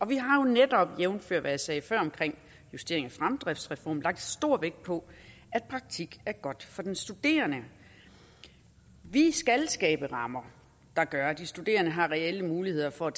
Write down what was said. vi har jo netop jævnfør hvad jeg sagde før om justering af fremdriftsreformen lagt stor vægt på at praktik er godt for den studerende vi skal skabe rammer der gør at de studerende har reelle muligheder for at